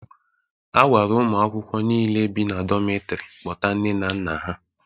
A gwara ụmụ akwụkwọ niile bi na dometri kpọta nne na nna ha.